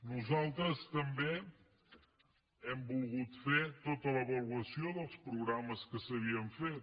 nosaltres també hem volgut fer tota l’avaluació dels programes que s’havien fet